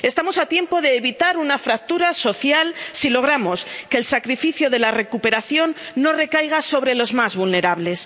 Estamos a tiempo de evitar una fractura social si logramos que el sacrificio de la recuperación no recaiga sobre los más vulnerables.